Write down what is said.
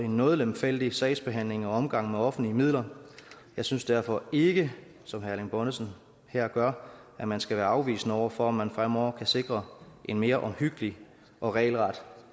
noget lemfældig sagsbehandling og omgang med offentlige midler jeg synes derfor ikke som herre bonnesen her gør at man skal være afvisende over for at man fremover kan sikre en mere omhyggelig og regelret